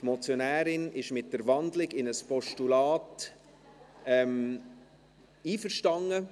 Die Motionärin ist mit der Wandlung in ein Postulat einverstanden.